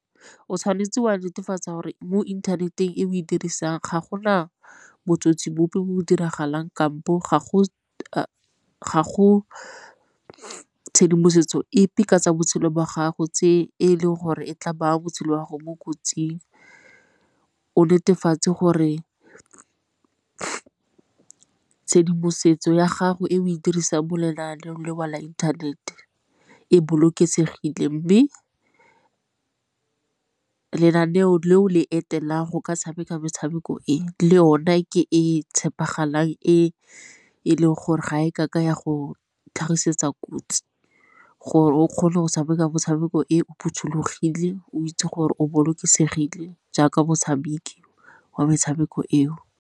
O tshwanetse o a netefatsa gore mo inthaneteng e o e dirisang ga gona botsotsi bope o diragalang kampo ga go tshedimosetso epe ka tsa botshelo jwa gago e leng gore e tla baya botshelo jwa go mo kotsing. O netefatse gore tshedimosetso ya gago e o e dirisa mo lenaaneng leo la internet e bolokesegileng, mme lenaneo leo le etelelang go ka tshameka metshameko e le yone ke e e tshepegalang e e leng gore ga e kake ya go tlhagisetsa kotsi gore o kgone go tshameka motshameko e o phothulogile o itse gore o bolokesegile jaaka motshameki wa metshameko eo.